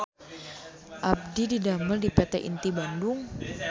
Abdi didamel di PT Inti Bandung